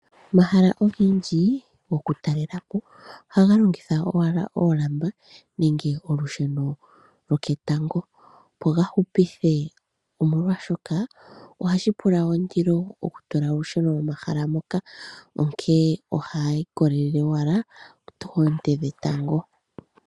Omahala ogendji goku talela po ohaga longitha owala oolamba nenge olusheno lwoketango, opo ga hupithe, omolwaashoka ohashi pula wo ondilo oku tula olusheno momahala moka, onkee ohayi ikolelele owala koonte dhetango.